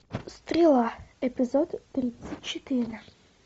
стрела эпизод тридцать четыре